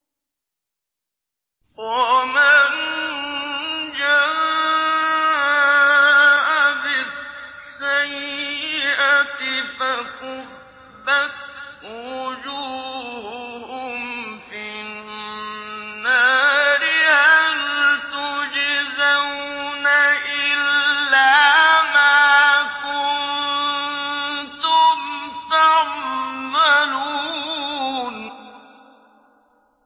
وَمَن جَاءَ بِالسَّيِّئَةِ فَكُبَّتْ وُجُوهُهُمْ فِي النَّارِ هَلْ تُجْزَوْنَ إِلَّا مَا كُنتُمْ تَعْمَلُونَ